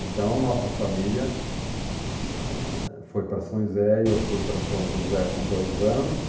Então, a nossa família, ãh, foi para São José e eu fui para São José com dois anos.